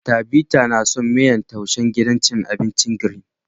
Tabita ta na son miyan taishen gidan cin abincin "green "